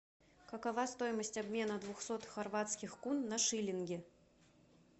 какова стоимость обмена двухсот хорватских кун на шиллинги